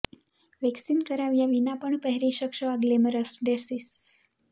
waxing કરાવ્યા વિના પણ પહેરી શકશો આ ગ્લેમરસ ડ્રેસીસ